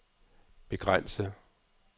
begrænse